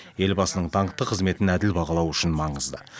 елбасының даңқты қызметін әділ бағалау үшін маңызды